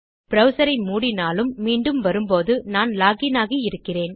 browser ஐ மூடினாலும் மீண்டும் வரும்போது நான் லாக் இன் ஆகி இருக்கிறேன்